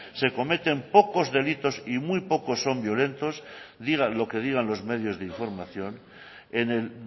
se cometen pocos delitos y muy pocos son violentos digan lo que digan los medios de información en el